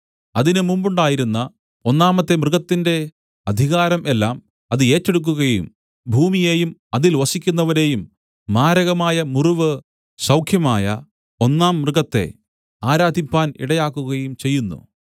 അതിന് മുമ്പുണ്ടായിരുന്ന ഒന്നാമത്തെ മൃഗത്തിന്റെ അധികാരം എല്ലാം അത് ഏറ്റെടുക്കുകയും ഭൂമിയെയും അതിൽ വസിക്കുന്നവരെയും മാരകമായ മുറിവ് സൗഖ്യമായ ഒന്നാം മൃഗത്തെ ആരാധിപ്പാൻ ഇടയാക്കുകയും ചെയ്യുന്നു